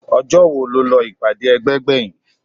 ọjọ́ wo lọ ìpàdé ẹgbẹ́ gbẹ̀yìn?